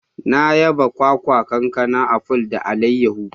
Na hada ayaba, kwakwa, kankana, aful, da alayahu.